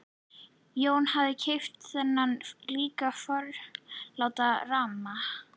Jón hafði keypt þennan líka forláta ramma.